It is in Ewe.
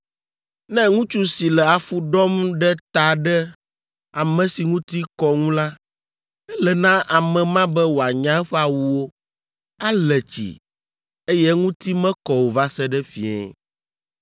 “ ‘Ne ŋutsu si le afu ɖɔm ɖe ta ɖe ame si ŋuti kɔ ŋu la, ele na ame ma be wòanya eƒe awuwo, ale tsi, eye eŋuti mekɔ o va se ɖe fiẽ.